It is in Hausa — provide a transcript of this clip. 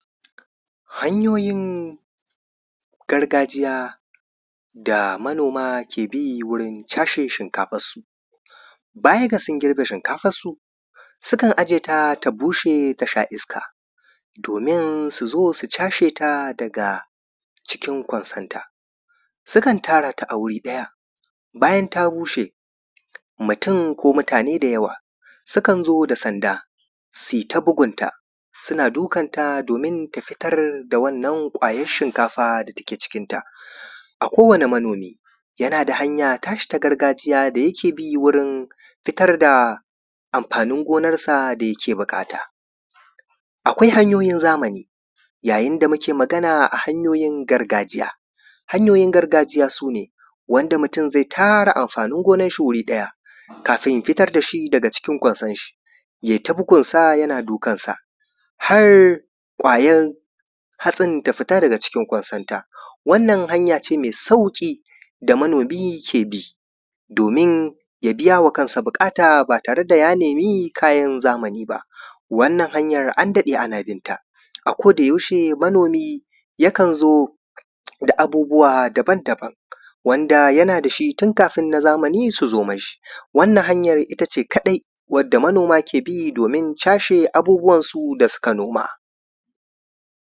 Hanyoyin gargajiya da manoma ke bi wajen cashee shinkafansu. Baya ga girbe shinkafansu sukan ajeyeta ta bushe ta sha iska domin su zo su cashe ta daga cikin konsan ta, sukan tara ta a wuri ɗaya bayan ta bushe, mutum ko mutane da yawa sukan zo da sanda si ta bugunta. Suna dukan ta domin ta fitar da wannan ƙwayar shinkafar dake cikin ta. Kowanemanomi da yana hanya ta shi ta gargajiya da yake bi wurin fitar da amfanin gonarsa da yake buƙata. Akwai hanyoyin zamani, yayin da muke magana a hanyoyin gargajiya, hanyoyin gargajiya su ne wanda mutum zai tara amfanin gonarsa wuri ɗaya, kafin ja fitar da shi daga cikin konsar shi. yai ta bugun sa yana dukansa, har ƙwayar hatsin ta fita daga cikin konsonta. Wannan hanya ce mai sauƙi da manomi ke bi, domin ya biya wa kansa buƙata ba tare da ya nemi kayan zamani ba, wannan hanyar an daɗe ana binta. Akodayaushe manomi yakan zo da abubuwa daban-daban. Wanda yana da shi tun kafin na zamani su zo mashi. wannan hanyar ita ce kaɗai da manoma ke bi domin cashe abubuwansu da suka noma.